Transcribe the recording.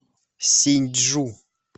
синьчжу